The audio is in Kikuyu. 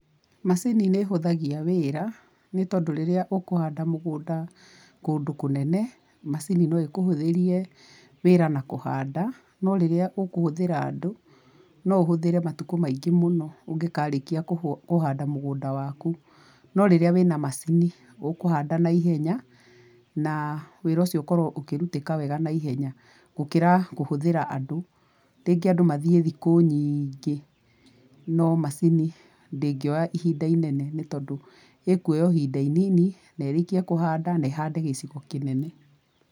Macini nĩ ĩhũthagia wĩra ,nĩ tondũ rĩrĩa ũkũhanda mũgũnda kũndũ kũnene macini no ĩkũhũthĩrie wĩra na kũhanda, no rĩrĩa ũkũhũthĩra andũ no ũhũthĩre matukũ maingĩ mũno ũgĩkarĩkia kũhanda mũgunda waku. No rĩrĩa wĩna macini ũkũhanda naihenya, na wĩra ũcio ũkorũo ũkĩrutĩka wega naihenya, gũkĩra kũhũthũra andũ. Rĩngĩ andũ mathiĩ thikũ nyingĩ no macini ndĩngĩoya ihinda inene ni tondũ ĩkuoya o ihinda inini na ĩrĩkie kũhanda na ĩhande gĩcigo kĩnene.